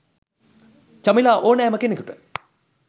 චමිලා ඕනෑම කෙනෙකුට